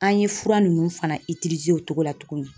An ye fura ninnu fana o cogo la tuguni